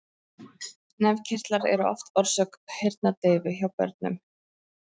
Nefkirtlar eru oft orsök heyrnardeyfu hjá börnum.